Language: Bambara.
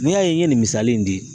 N'i y'a ye n ye nin misali in di